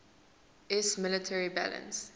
iiss military balance